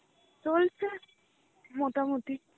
চলছে মোটামুটি.